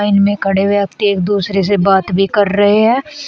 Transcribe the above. Line में खड़े व्यक्ति एक दूसरे से बात भी कर रहे है।